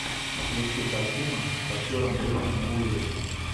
включи картину с актером брюсом уиллисом